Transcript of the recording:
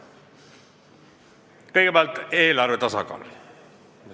Kõigepealt, eelarve tasakaal.